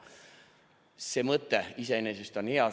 See mõte iseenesest on hea.